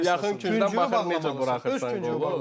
Öz küncün öz küncündən necə buraxırsan qol?